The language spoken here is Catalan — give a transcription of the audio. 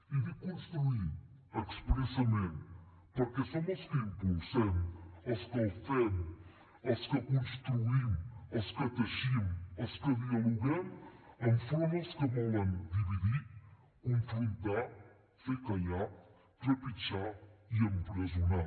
i dic construir expressament perquè som els que impulsem els que el fem els que construïm els que teixim els que dialoguem enfront als que volen dividir confrontar fer callar trepitjar i empresonar